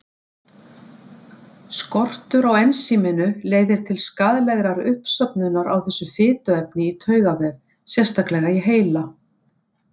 Skortur á ensíminu leiðir til skaðlegrar uppsöfnunar á þessu fituefni í taugavef, sérstaklega í heila.